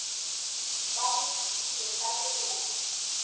ba mo šupile ka dirope